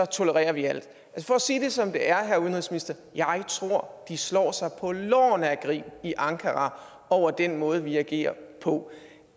tolererer vi alt for at sige det som det er jeg tror at de slår sig på lårene af grin i ankara over den måde vi agerer på